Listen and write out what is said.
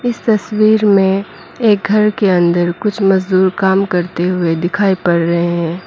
इस तस्वीर में एक घर के अंदर कुछ मजदूर काम करते हुए दिखाई पड़ रहे हैं।